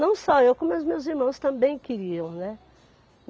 Não só eu, como os meus irmãos também queriam, né.